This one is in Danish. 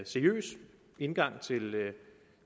seriøs indgang